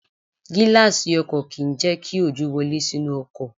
Gíláàsì ọkọ̀ kì ń jẹ́ kí òjò wọlé sínú ọkọ̀.